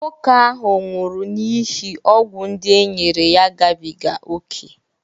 nwoke ahụ nwụrụ n'ihi ọgwụ ndị e nyere ya gabiga ókè